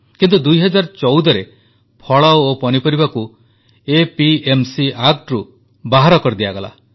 କିନ୍ତୁ 2014ରେ ଫଳ ଓ ପନିପରିବାକୁ ଏପିଏମସି ବିଧେୟକରୁ ବାହାର କରିଦିଆଗଲା